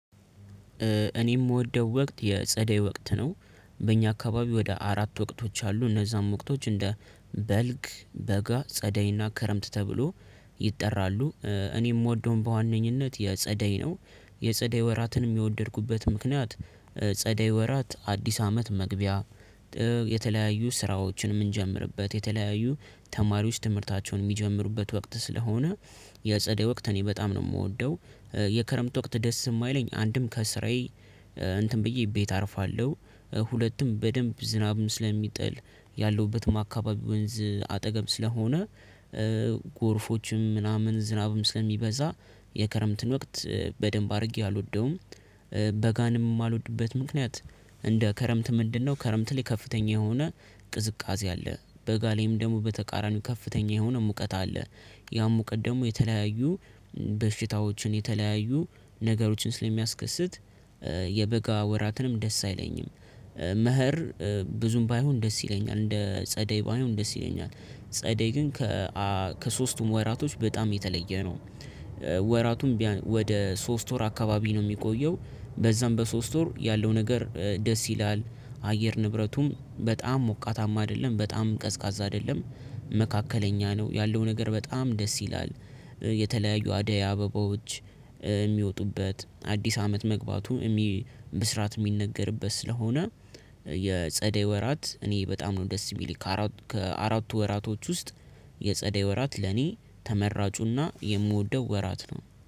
እኔ የምወደው ወቅት የጸደይ ወቅት ነው። በእኛ አካባቢ ወደ አራት ወቅቶች አሉ። እነዛም ወቅቶች እንደ በልግ፥ በጋ፥ ጸደይና ክረምት ተብሎ ይጠራሉ። እኔ የምወደውን በዋነኝነት የጸደይ ነው። የጸደይ ወራትን የወደድኩበት ምክንያት ጸደይ ወራት አዲስ አመት መግቢያ የተለያዩ ስራዎችን የምንጀምርበት፤ የተለያዩ ተማሪዎች ትምህርታቸውን የሚጀምሩበት ወቅት ስለሆነ የጸደይ ወቅት እኔ በጣም ነው የምወደው የክረምት ወቅት ደስ የማይለኝ አንድም ከስራዬ እንትን ብዬ ቤት አርፋለሁ። ሁለቱም በደንብ ዝናብን ስለሚጥል ያለሁበትም አካባቢ ወንዝ አጠገብ ስለሆነ ጎርፎችም ምናምን ዝናብም ስለሚበዛ የክረምትን ወቅት በደንብ አድርጌ አልወደውም። በጋንም የማልወድበት ምክንያት እንደ ክረምት ምንድነው ክረምት ላይ ከፍተኛ የሆነ ቅዝቃዜ አለ በጋ ላይም ደግሞ በተቃራኒው ከፍተኛ የሆነ ሙቀት አለ። ያም ሙቀት ደግሞ የተለያዩ በሽታዎችን የተለያዩ ነገሮችን ስለሚያስከስት የበጋ ወራትንም ደስ አይለኝም። መኸር ብዙም ባይሆን ደስ ይለኛል እንደ ጸደይ ባይሆን ደስ ይለኛል። ጸደይ ግን ከ ከሶስቱም ወራቶች በጣም የተለየ ነው። ወራቱም ወደ ሶስት ወር አካባቢ ነው የሚቆየው በዛም በሶስት ወር ያለው ነገር ደስ ይላል፤ አየር ንብረቱን በጣም ሞቃታማ አይደለም፤ በጣም ቀዝቃዛ አይደለም፤ መካከለኛ ነው ያለው ነገር በጣም ደስ ይላል። የተለያዩ አደይ አበባዎች የሚወጡበት አዲስ አመት መግባቱ ብስራት የሚነገርበት ስለሆነ የጸደይ ወራት እኔ በጣም ነው ደስ የሚል ከአራቱ ወራቶች ውስጥ የጸደይ ወራት ለኔ ተመራጩና የምወደው ወራት ነው